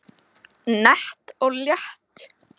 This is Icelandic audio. Nett og létt